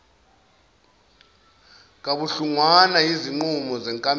kabuhlungwana yizinqumo zenkambiso